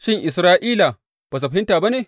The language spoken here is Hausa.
Shin, Isra’ila ba su fahimta ba ne?